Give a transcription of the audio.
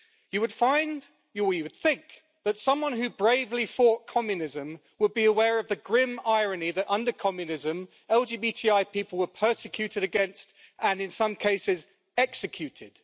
You would think that someone who bravely fought communism would be aware of the grim irony that under communism LGBTI people were persecuted against and, in some cases, executed.